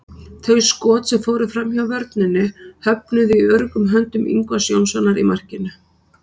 Þau skot sem fóru framhjá vörninni höfnuðu í öruggum höndum Ingvars Jónssonar í markinu.